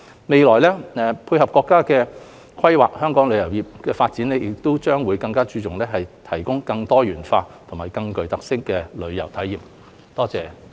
未來，配合國家規劃，香港的旅遊業發展亦將更着重於提供更多元化及更具特色的旅遊體驗。